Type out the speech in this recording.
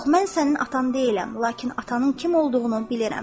Yox, mən sənin atan deyiləm, lakin atanın kim olduğunu bilirəm.